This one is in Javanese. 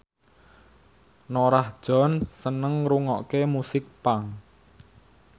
Norah Jones seneng ngrungokne musik punk